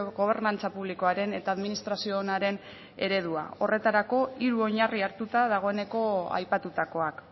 gobernantza publikoaren eta administrazio onaren eredua horretarako hiru oinarri hartuta dagoeneko aipatutakoak